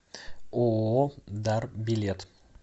ооо дар билет